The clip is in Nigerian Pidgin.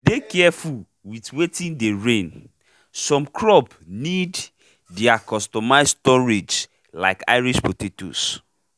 dey careful with watin dey reign- some crop need their customize storage like irish potatoes